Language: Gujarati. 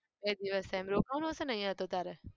બે દિવસ થાય એમ. રોકાવાનું હશે ને અહીંયા તો તારે?